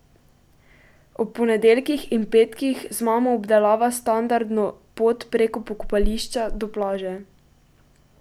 Ob ponedeljkih in petkih z mamo obdelava standardno pot preko pokopališča do plaže.